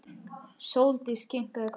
Sóldís kinkaði kolli.